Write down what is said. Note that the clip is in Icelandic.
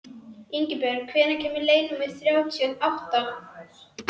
Ingibjörn, hvenær kemur leið númer þrjátíu og átta?